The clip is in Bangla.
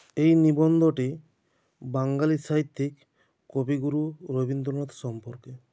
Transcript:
এই নিবন্ধটি বাঙ্গালী সাহিত্যিক কবিগুরু রবীন্দ্রনাথ সম্পর্কে